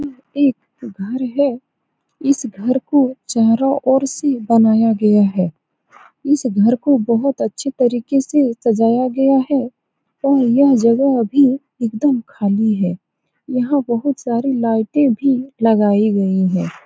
यह एक घर है इस घर को चारो ओर से बनाया गया है इस घर को बहुत अच्छी तरीके से सजाया गया है और यह जगह भी एकदम खाली है यहाँ बहुत सारे लाइट भी लगायी गई हैं ।